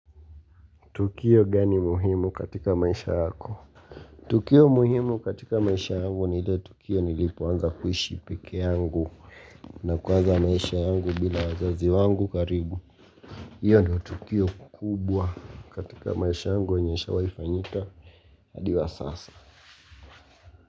Tukio gani muhimu katika maisha yako? Tukio muhimu katika maisha yangu ni ile tukio nilipoanza kuishi pekee yangu na kuwaza maisha yangu bila wazazi wangu karibu. Iyo ndo tukio kubwa katika maisha yangu yenyeishawai fanyika hadi wa sasa.